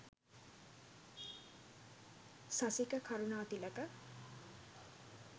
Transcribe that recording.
sasika karunathilake